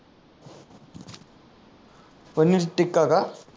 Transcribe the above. पनीर टिक्का का